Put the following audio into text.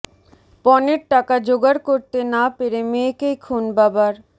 পণের টাকা জোগাড় করতে না পেরে মেয়েকেই খুন বাবার